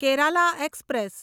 Kerala express